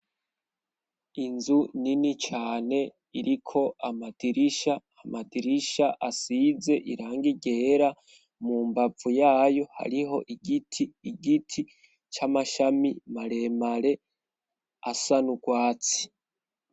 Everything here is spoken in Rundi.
Inzu nini cane iriko amadirisha, amadirisha asize irangi ryera mu mbavu yayo hariho igiti, igiti c'amashami maremare asa nugwatsi.